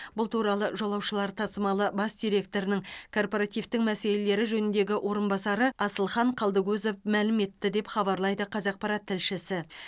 бұл туралы жолаушылар тасымалы бас директорының корпоративтің мәселелері жөніндегі орынбасары асылхан қалдыкозов мәлім етті деп хабарлайды қазақпарат тілшісі